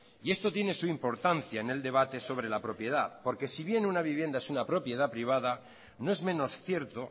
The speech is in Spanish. y esto tiene su importancia en el debate sobre la propiedad porque si bien una vivienda es una propiedad privada no es menos cierto